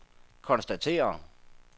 konstaterer